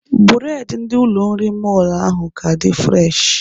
Bụredị ndị ụlọ nri mọlụ ahụ ka dị fụreshị.